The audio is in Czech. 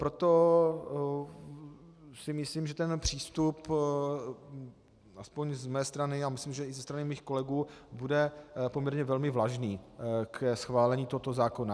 Proto si myslím, že ten přístup aspoň z mé strany, a myslím, že i ze strany mých kolegů, bude poměrně velmi vlažný ke schválení tohoto zákona.